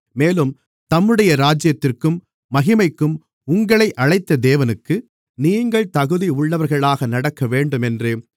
மேலும் தம்முடைய ராஜ்யத்திற்கும் மகிமைக்கும் உங்களை அழைத்த தேவனுக்கு நீங்கள் தகுதியுள்ளவர்களாக நடக்கவேண்டுமென்று